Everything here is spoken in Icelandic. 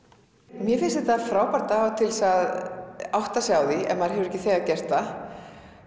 mér finnst þetta frábær dagur til þess að átta sig á því ef maður hefur ekki þegar gert það